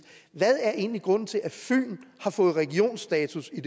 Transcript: hvad er egentlig grunden til at fyn har fået regionsstatus i